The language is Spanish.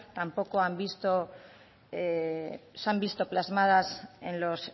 tampoco se han visto plasmadas en los